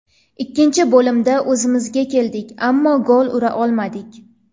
Ikkinchi bo‘limda o‘zimizga keldik, ammo gol ura olmadik.